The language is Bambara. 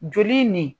Joli nin